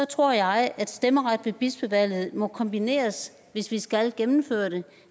tror jeg at stemmeret ved bispevalget må kombineres hvis vi skal gennemføre det